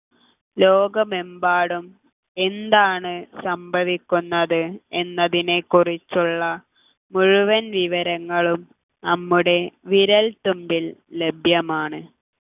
ലോകമെമ്പാടും എന്താണ് സംഭവിക്കുന്നത് എന്നതിനെക്കുറിച്ചുള്ള മുഴുവൻ വിവരങ്ങളും നമ്മുടെ വിരൽത്തുമ്പിൽ ലഭ്യമാണ്